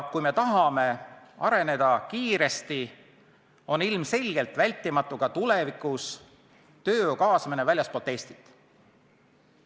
Kui me tahame kiiresti areneda, on ilmselgelt vältimatu, et ka tulevikus tuleb tööjõudu kaasata väljastpoolt Eestit.